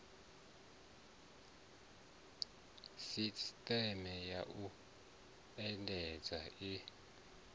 sisteme ya u endedza i